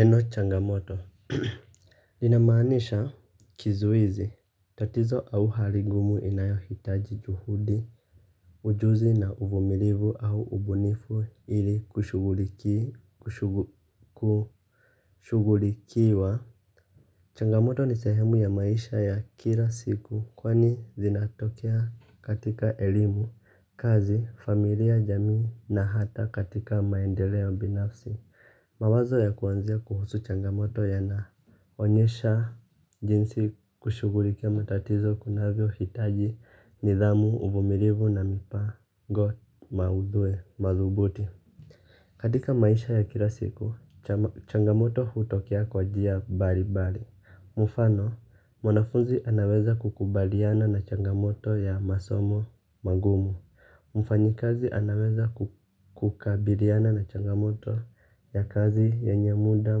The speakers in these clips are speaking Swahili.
Neno changamoto linamanisha kizuizi, tatizo au hali ngumu inayohitaji juhudi, ujuzi na uvumilivu au ubunifu ili kushughulikiwa. Changamoto ni sehemu ya maisha ya kila siku kwani zinatokea katika elimu, kazi, familia, jamii na hata katika maendeleo binafsi. Mawazo ya kuanzia kuhusu changamoto yanaonyesha jinsi kushughulikia matatizo kunavyohitaji nidhamu, uvumilivu na mipango madhubuti. Katika maisha ya kila siku, changamoto hutokea kwa njia mbalimbali. Mfano, mwanafunzi anaweza kukubaliana na changamoto ya masomo magumu. Mfanyikazi anaweza kukabiriana na changamoto ya kazi yenye muda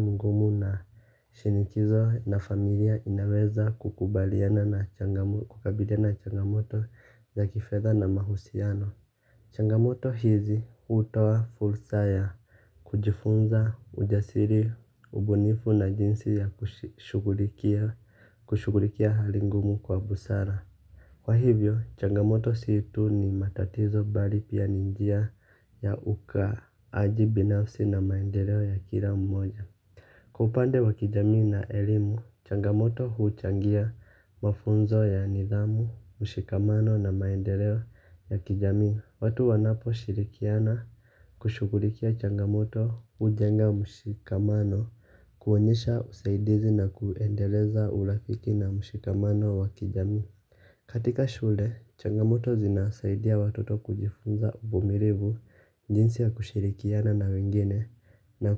mgumu na shinikizo na familia inaweza kukabiriana na changamoto za kifedha na mahusiano. Changamoto hizi hutoa fursa ya kujifunza ujasiri ubunifu na jinsi ya kushughulikia hali ngumu kwa busara. Kwa hivyo, changamoto si tu ni matatizo bali pia ni njia ya ukaaji binafsi na maendeleo ya kila mmoja. Kwa upande wa kijamii na elimu, changamoto huchangia mafunzo ya nidhamu, mshikamano na maendeleo ya kijamii. Watu wanaposhirikiana kushughulikia changamoto hujenga mshikamano kuonyesha usaidizi na kuuendeleza urafiki na mshikamano wa kijamii. Katika shule, changamoto zinasaidia watoto kujifunza uvumilivu jinsi ya kushirikiana na wengine na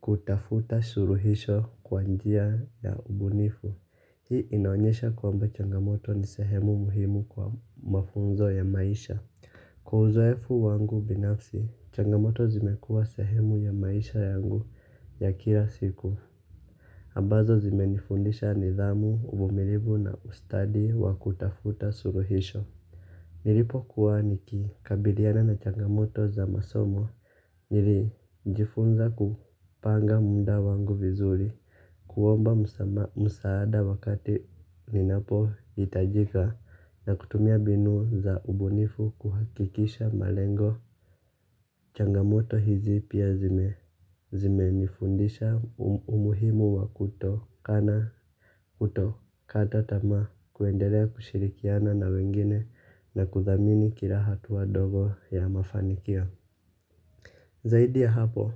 kutafuta suluhisho kwa njia ya ubunifu. Hii inaonyesha kwamba changamoto ni sehemu muhimu kwa mafunzo ya maisha. Kwa uzoefu wangu binafsi, changamoto zimekuwa sehemu ya maisha yangu ya kila siku. Ambazo zimenifundisha nidhamu uvumilivu na ustadi wa kutafuta suluhisho. Nilipokuwa nikikabiliana na changamoto za masomo nilijifunza kupanga muda wangu vizuri kuomba msaada wakati ninapohitajika na kutumia mbinu za ubunifu kuhakikisha malengo. Changamoto hizi pia zimenifundisha umuhimu wa kutokana kutokata tamaa kuendelea kushirikiana na wengine na kuthamini kila hatua ndogo ya mafanikio. Zaidi ya hapo,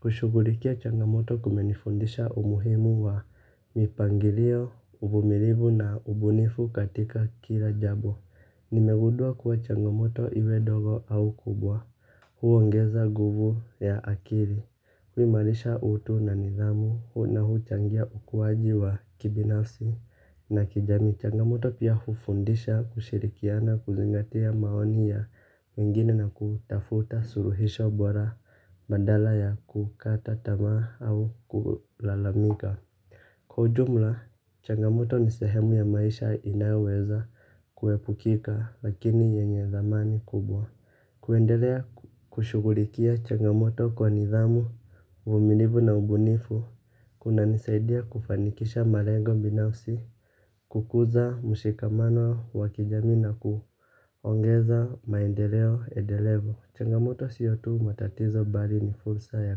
kushughulikia changamoto kumenifundisha umuhimu wa mipangilio, uvumilivu na ubunifu katika kila jambo. Nimegundua kuwa changamoto iwe ndogo au kubwa huongeza nguvu ya akili, huimarisha utu na nidhamu, na huchangia ukuaji wa kibinafsi na kijamii. Changamoto pia hufundisha kushirikiana kuzingatia maoni ya wengine na kutafuta suluhisho bora badala ya kukata tamaa au kulalamika. Kwa ujumla changamoto ni sehemu ya maisha inayoweza kuepukika lakini yenye thamani kubwa. Kuendelea kushughulikia changamoto kwa nidhamu, uvumilivu na ubunifu kunanisaidia kufanikisha malengo binafsi kukuza mshikamano wa kijamii na kuongeza maendeleo endelevu. Changamoto siyo tu matatizo bali ni fursa ya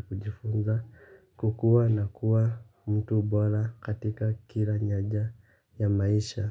kujifunza kukuwa na kuwa mtu bora katika kila nyanja ya maisha.